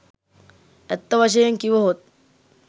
ඇත්ත වශයෙන් කිවහොත්